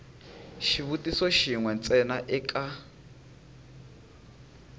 xivutiso xin we ntsena eka